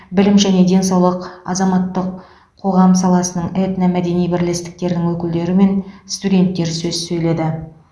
білім және денсаулық азаматтық қоғам саласының этномәдени бірлестіктердің өкілдері мен студенттер сөз сөйледі